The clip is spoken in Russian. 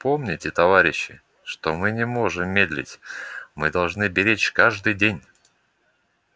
помните товарищи что мы не можем медлить мы должны беречь каждый день